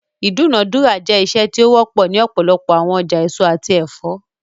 Idunadura jẹ iṣe ti o wọpọ ni ọpọlọpọ awọn ọja eso ati ẹfọ